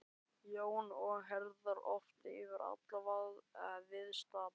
Jóns og herðar oft yfir alla viðstadda.